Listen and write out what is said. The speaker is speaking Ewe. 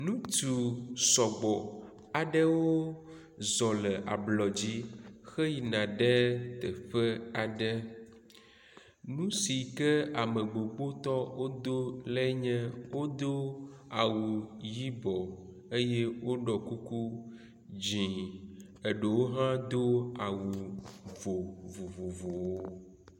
Ŋutsu sɔgbɔ aɖewo zɔ le ablɔ dzi xeyina ɖe teƒe aɖe. Nu si ke ame gbogbotɔ wodo lae nye wodo awu yibɔ eye woɖɔ kuku di eɖewo hã do awu vo vovovowo.